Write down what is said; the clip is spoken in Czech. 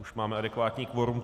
Už máme adekvátní fórum.